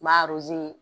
Ma